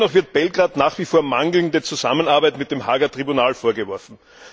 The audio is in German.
Dennoch wird Belgrad nach wie vor mangelnde Zusammenarbeit mit dem Haager Tribunal vorgeworfen.